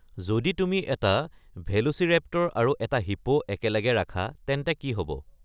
যদি তুমি এটা ভেলোচিৰেপ্টৰ আৰু এটা হিপ্পো একেলগে ৰাখা তেন্তে কি হ'ব